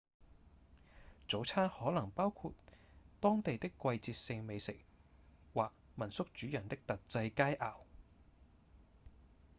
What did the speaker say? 早餐可能包含當地的季節性美食或民宿主人的特製佳餚